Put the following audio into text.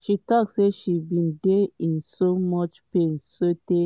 she tok say she bin dey in soo much pain sotay